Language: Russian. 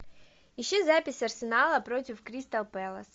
ищи запись арсенала против кристал пэлас